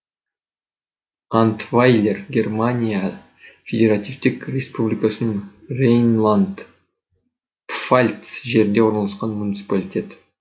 антвайлер германия федеративтік республикасының рейнланд пфальц жерінде орналасқан муниципалитет